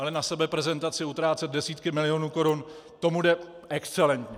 Ale na sebeprezentaci utrácet desítky milionů korun, to mu jde excelentně.